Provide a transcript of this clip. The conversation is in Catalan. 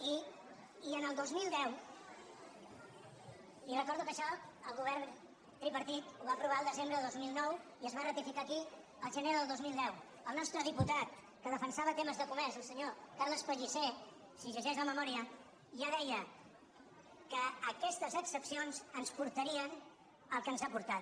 i en el dos mil deu li recordo que això el govern tripartit ho va aprovar el desembre del dos mil nou i es va ratificar aquí el ge·ner del dos mil deu el nostre diputat que defensava temes de comerç el senyor carles pellicer si llegeix la memòria ja deia que aquestes excepcions ens portarien al que ens ha portat